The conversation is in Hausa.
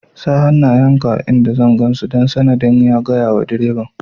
Sa' hanayen ka a'inda zan gan su! Dan sanda'n ya gaya ma direban.